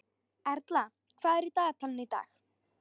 Erla, hvað er í dagatalinu í dag?